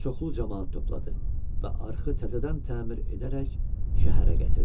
Çoxlu camaat topladı və arxı təzədən təmir edərək şəhərə gətirdi.